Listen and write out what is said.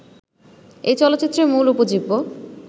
এই চলচ্চিত্রের মূল উপজীব্য